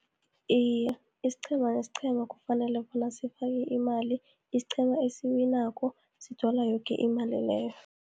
Iye, isiqhema nesiqhema kufanele bona sifake imali, isiqhema esiwinako sithola yoki imali leyo.